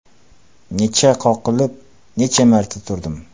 Necha qoqilib, necha marta turdim.